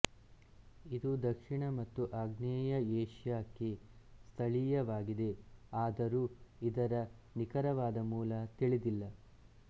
ಇದು ದಕ್ಷಿಣ ಮತ್ತು ಆಗ್ನೇಯ ಏಷ್ಯಾಕ್ಕೆ ಸ್ಥಳೀಯವಾಗಿದೆ ಆದರೂ ಇದರ ನಿಖರವಾದ ಮೂಲ ತಿಳಿದಿಲ್ಲ